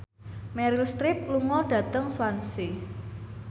Meryl Streep lunga dhateng Swansea